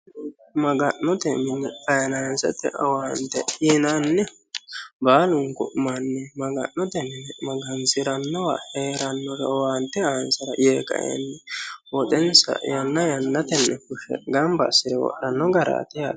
maga'note mini fayinaansete owaante yinannihu baalunku manni maga'note mine magansi'rannowa hee'rannore owaante aansara yee ka"e woxensa yanna yannatenne fushshe gamba assi're wodhanno garaati yaate